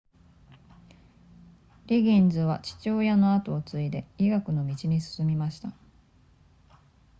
リギンズは父親の跡を継いで医学の道に進みました